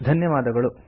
ಧನ್ಯವಾದಗಳು